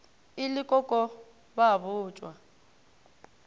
e le koko ba botšwa